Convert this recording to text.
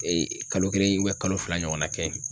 kalo kelen kalo fila ɲɔgɔna kɛ.